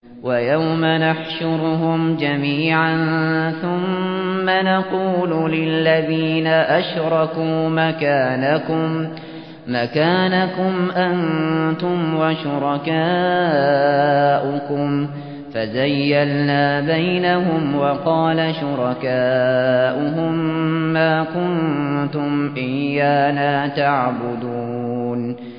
وَيَوْمَ نَحْشُرُهُمْ جَمِيعًا ثُمَّ نَقُولُ لِلَّذِينَ أَشْرَكُوا مَكَانَكُمْ أَنتُمْ وَشُرَكَاؤُكُمْ ۚ فَزَيَّلْنَا بَيْنَهُمْ ۖ وَقَالَ شُرَكَاؤُهُم مَّا كُنتُمْ إِيَّانَا تَعْبُدُونَ